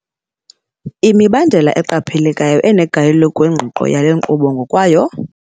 Imibandela eqaphelekayo enegalelo kwingqiqo yale nkqubo ngokwayo.